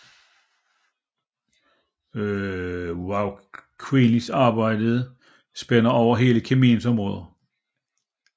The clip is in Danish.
Vauquelins arbejde spænder over hele kemiens område